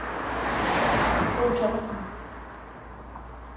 Bo Thomassen